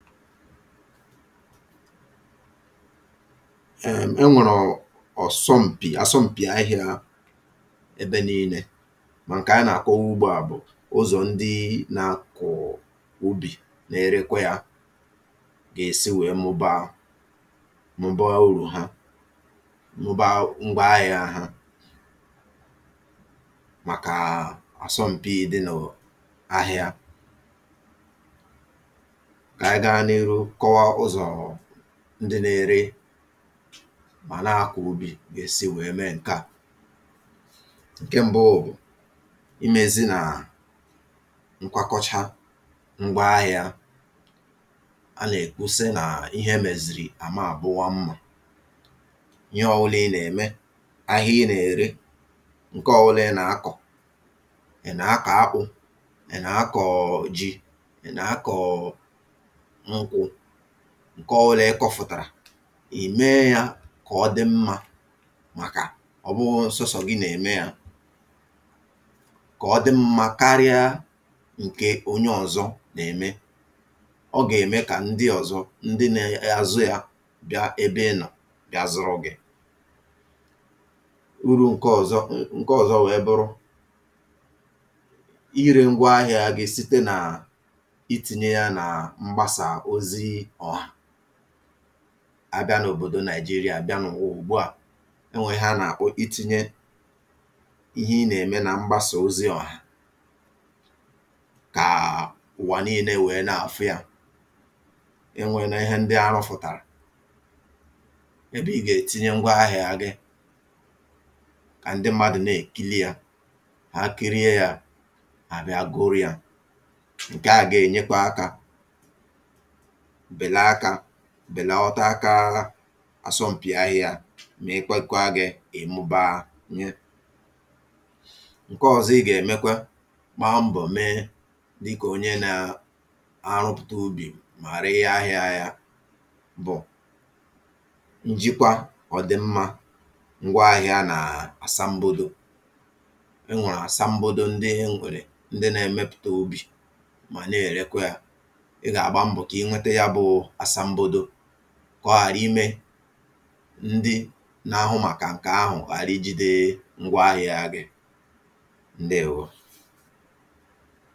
èm̀ e nwèrè ọ̀sọm̀pì àsọm̀pì ahị̄ā ebe niīnē mà ǹkè a nà-àkọwa ùgbuà bụ̀ ụzọ̀ ndịị na-akọ̀ọ̀ ubì na-erekwe yā gà-èsi wèe mụbaa mụbaa urù ha mụbaa ngwa ahị̄ā ha màkàà àsọm̀pi dị n’ò ahịa kà ànyị gaa n’iru kọwa ụzọ̀ọ̀ ndị na-ere mà na-akọ̀ ubì gà-èsi wèe mee ǹkeà ǹke mbụụ bụ̀, imēzi nàà nkwakọcha ngwa ahị̄ā a nà-èkwu sị nà ihe emèzìrì àma àbụwa mmā ihe ọwụlà ị nà-ème, ahịa ị nà-ère ǹke ọwụlà ị na-akọ̀ ị̀ nà-akọ̀ akpụ̄, ị̀ nà-akọ̀ọ̀ ji ị̀ nà-akọ̀ọ̀ nkwụ̄ ǹke ọwụlà ị kọ̄fụ̀tàrà ì mee yā kà ọ dị mmā màkà ọ̀bụghọ̄ sọsọ̀ gị nà-ème yā kà ọ dị mmā karịa ǹkè onye ọ̄zọ̄ nà-ème ọ gà-ème kà ndị ọ̀zọ ndị ne-azụ yā bịa ebe ị nọ̀ bịa zụrụ gị̄ urū ǹke ọ̀zọ ǹ ǹke ọ̀zọ wèe bụrụ irē ngwa ahị̄ā gị site nàà itīnye ya nà mgbasà ozi ọ̀hà abịa n’òbòdo Nigeria, bịa n’ụ̀wà ùgbuà e nwèè ihe a nà-àkpọ itīnye ihe ị nà-ème na mgbasà ozi ọ̀hà kàà ụ̀wà níīnē wèe na-àfụ yā e nwēné ihe ndị arụ̄fụ̀tàrà ebe i gà-ètinye ngwa ahị̄ā gị kà ndị mmadụ̀ na-èkili yā ha kirie yā hà àbịa gụrụ yā ǹkeà gà-ènyekwa akā bèla akā bèlọta akaa àsọm̀pì ahị̄ā mị̀ị kwekwa gị̄ kà ị mụbaanye ǹke ọ̀zọ ị gà-èmekwe gbaa mbọ̀ mee dịkà onye naa-arụpụ̀ta ubì mà ree ahị̄ā ya bụ̀ njikwa ọ̀dị̀mmā ngwa ahị̄ā nàà àsambodo e nwèrè àsambodo ndị e nwèrè ndị na-emepụta ubì mà na-èrekwe yā ị gà-àgba mbọ̀ kà i nwete ya bụ̄ụ̄ àsambodo kà ọ ghàra imē ndị na-ahụ màkà ǹkè ahụ̀ ghàra ijīde ngwa ahị̄ā gị ǹdeèwo